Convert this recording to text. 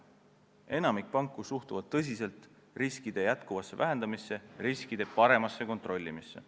Enamik panku suhtub tõsiselt riskide edasisse vähendamisse ja riskide paremasse kontrollimisse.